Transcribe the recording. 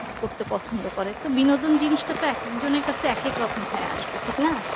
করতে পছন্দ করে তো বিনোদন জিনিসটা তো এক এক জনের কাছে এক এক রকম হয়ে আসবে ঠিক না